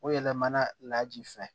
O yɛlɛmana laji fɛ